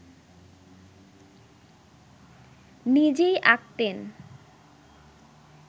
নিজেই আঁকতেন